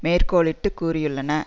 மேற்கோளிட்டு கூறியுள்ளன